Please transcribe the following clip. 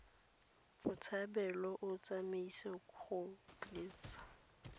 botshabelo o tshwanetse go tlisa